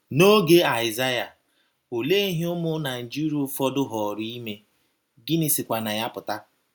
N’oge Aịzaịa, olee ihe ụmụ Nigeria ụfọdụ họọrọ ime, gịnị sikwa na ya pụta?